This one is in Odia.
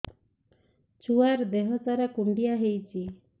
ଛୁଆର୍ ଦିହ ସାରା କୁଣ୍ଡିଆ ହେଇଚି